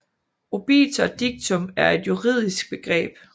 Obiter dictum er et juridisk begreb